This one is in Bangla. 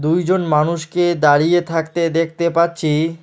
দুইজন মানুষকে দাঁড়িয়ে থাকতে দেখতে পাচ্ছি।